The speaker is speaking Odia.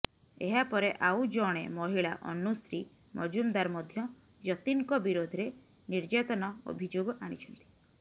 ଏହାପରେ ଆଉ ଜଣେ ମହିଳା ଅନୁଶ୍ରୀ ମଜୁମଦାର ମଧ୍ୟ ଯତୀନଙ୍କ ବିରୋଧରେ ନିର୍ଯାତନା ଅଭିଯୋଗ ଆଣିଛନ୍ତି